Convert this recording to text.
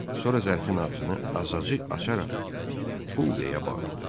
Sonra zərfin ağzını azacıq açaraq pul deyə bağırdı.